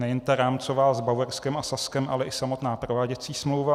Nejen ta rámcová s Bavorskem a Saskem, ale i samotná prováděcí smlouva.